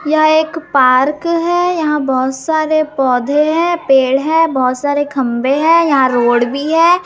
यह एक पार्क है यहां बहुत सारे पौधे हैं पेड़ है बहुत सारे खंभे हैं यहां रोड भी है।